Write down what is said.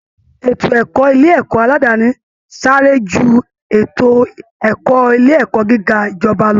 Ètò ẹ̀kọ́ ilé ẹ̀kọ́ aládàáni sáré ju ètò ẹ̀kọ́ ilé ẹ̀kọ́ gíga ìjọba lọ